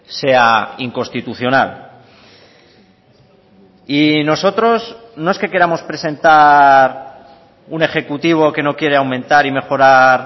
sea inconstitucional y nosotros no es que queramos presentar un ejecutivo que no quiere aumentar y mejorar